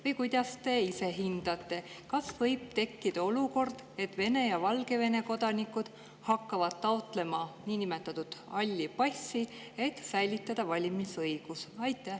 Või kuidas te ise hindate, kas võib tekkida olukord, et Vene ja Valgevene kodanikud hakkavad taotlema niinimetatud halli passi, et säilitada valimisõigus?